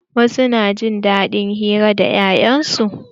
Wasu na jin daɗin hira da 'ya'yan su.